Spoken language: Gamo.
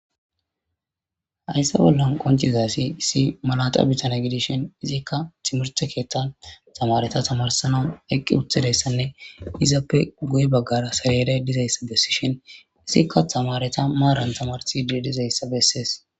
haysse bollan qoncizasi issi malaxa bitana gidishin izikka timirte keettan tamareta tamarsanan eqqi utidayssanne izappe guye baggara sareeday dizayssa bessishin izikka tamareta maaran tamarsi dizayssa bessees